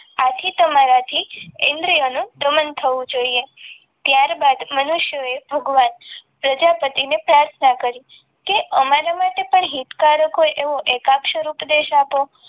આથી તમારાથી ઇન્દ્રિયોનું દમન થવું જોઈએ ત્યારબાદ મનુષ્યએ ભગવાન પ્રજાપતિને પ્રાર્થના કરી કે અમારા માટે પણ હિતકારક હોય એવો એકાક્ષર ઉપદેશ આપો.